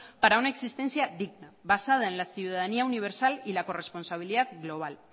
para una existencia digna basada en la ciudadanía universal y la corresponsabilidad global